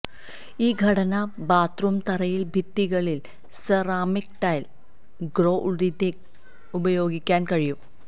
ഈ ഘടന ബാത്ത്റൂം തറയിൽ ഭിത്തികളിൽ സെറാമിക് ടൈൽ ഗ്രൊഉതിന്ഗ് ഉപയോഗിക്കാൻ കഴിയും